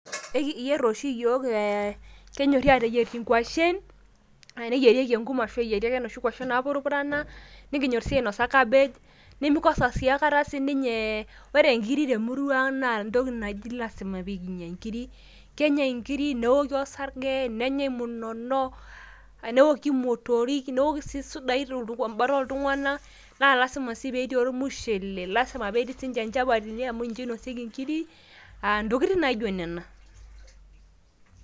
ekiyier oshi ee kenyorri aateyier inkwashen, neyierieki enkum. ashu eyieri ake nkwashen naapurupurana. nikinyor sii ainosa kabej, nemekosa siii aikata sii ninye, ore nkiri te murua ang naa entoki naji lasima. lasima pee enyae nkiri, neoki osarge, nenyae munono, neoki motorik, amu kisidain tebata ooltunganak, naa lasima sii pee etii ormushele, lasima pee etii sii ninche nchapatini amu ninche inosieki nkiri, ntokitin naijo nena.